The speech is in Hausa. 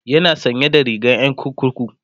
yana sanye da rigar Yan kurkuku